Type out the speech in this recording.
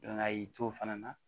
a y'i to fana